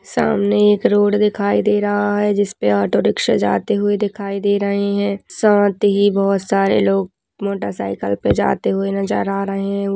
सामने एक रोड दिखाई दे रहा है जिसपे ऑटो रिक्शा जाते हुए दिखाई दे रहीं हैं सांत ही बोहोत सारे लोग मोटरसाइकल पे जाते हुए नजर आ रहें हैं। उ --